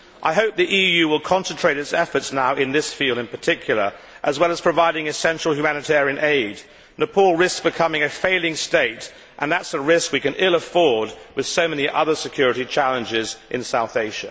I hope the EU will concentrate its efforts now in this field in particular as well as providing essential humanitarian aid. Nepal risks becoming a failing state and that is a risk we can ill afford with so many other security challenges in South Asia.